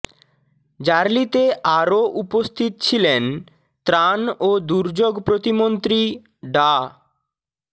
র্যালিতে আরও উপস্থিত ছিলেন ত্রাণ ও দুর্যোগ প্রতিমন্ত্রী ডা